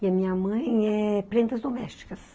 E a minha mãe é prendas domésticas.